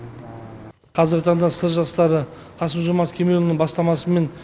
қазіргі таңда сыр жастары қасым жомарт кемелұлының бастамасымен